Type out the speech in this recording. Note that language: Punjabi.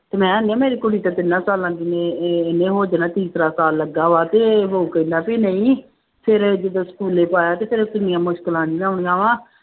ਤੇ ਮੈਂ ਕਿਹਾ ਮੇਰੀ ਕੁੜੀ ਤਾਂ ਤਿੰਨਾਂ ਸਾਲਾਂ ਦੀ ਹੈ ਇਹ ਇਹਨੇ ਹੋ ਜਾਣਾ ਤੀਸਰਾ ਸਾਲ ਲੱਗਾ ਵਾ ਤੇ ਉਹ ਕਹਿੰਦਾ ਵੀ ਨਹੀਂ ਫਿਰ ਜਦੋਂ ਸਕੂਲੇ ਪਾਇਆ ਤੇ ਫਿਰ ਕਿੰਨੀਆਂ ਮੁਸਕਲਾਂ ਜਿਹੀਆਂ ਹੋਣੀਆਂ ਵਾਂ।